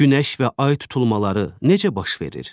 Günəş və ay tutulmaları necə baş verir?